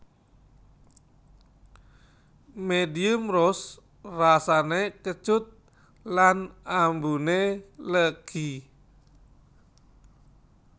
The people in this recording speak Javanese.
Medium Roast rasané kecut lan ambuné legi